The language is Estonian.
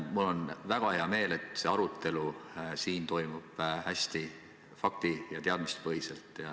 Mul on väga hea meel, et see arutelu siin toimub hästi fakti- ja teadmistepõhiselt.